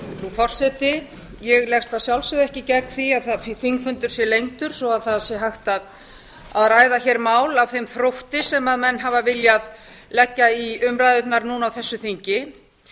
forseti ég leggst að sjálfsögðu ekki gegn því að þingfundur sé lengdur svo það sé hægt að ræða hér mál af þeim þrótti sem menn hafa viljað leggja í umræðurnar núna á þessu þingi